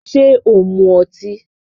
Ṣé ò ń mu ọtí?